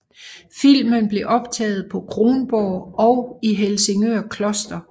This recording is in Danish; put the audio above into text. Filmen blev optaget på Kronborg og i Helsingør Kloster